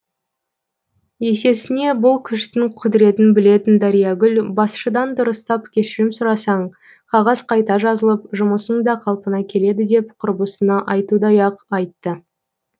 есесіне бұл күштің құдіретін білетін дариягүл басшыдан дұрыстап кешірім сұрасаң қағаз қайта жазылып жұмысың да қалпына келеді деп құрбысына айтудай ақ айтты